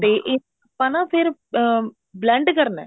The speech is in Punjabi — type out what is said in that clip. ਤੇ ਇਹ ਆਪਾਂ ਨਾ ਫ਼ੇਰ blend ਕਰਨਾ